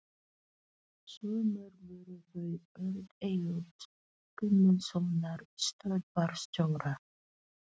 Svo mörg voru þau orð Eyjólfs Guðmundssonar, stöðvarstjóra.